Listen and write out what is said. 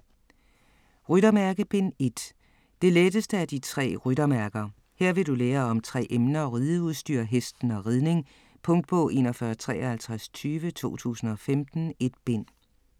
Ryttermærke: Bind 1 Det letteste af de tre ryttermærker. Her vil du lære om tre emner; rideudstyr, hesten og ridning. Punktbog 415320 2015. 1 bind.